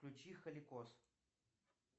включи халикоз